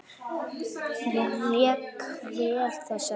Ég lék vel þessa vikuna.